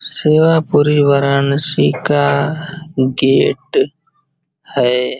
सेवा पुरी वाराणसी का गेट है।